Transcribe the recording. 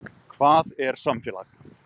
Hvað er samfélag?